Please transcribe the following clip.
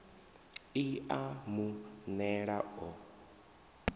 i a mu nela o